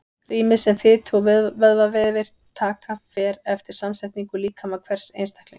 Rýmið sem fitu- og vöðvavefir taka fer eftir samsetningu líkama hvers einstaklings.